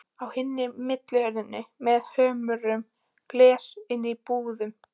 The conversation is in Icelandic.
Á hina millihurð með hömruðu gleri inn í íbúðina.